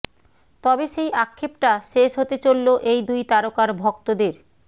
তবে সেই আক্ষেপটা শেষ হতে চললো এই দুই তারকার ভক্তদের